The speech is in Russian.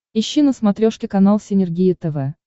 ищи на смотрешке канал синергия тв